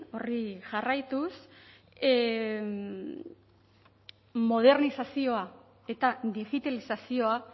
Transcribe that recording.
horri jarraituz modernizazioa eta digitalizazioa